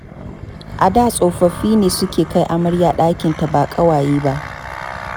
A da tsofaffi ne suke kai amarya ɗakinta ba ƙawaye ba.